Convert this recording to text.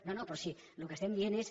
no no però si el que estem dient és